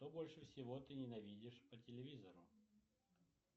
что больше всего ты ненавидишь по телевизору